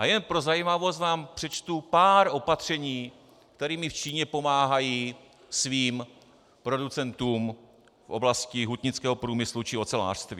A jen pro zajímavost vám přečtu pár opatření, kterými v Číně pomáhají svým producentům v oblasti hutnického průmyslu či ocelářství.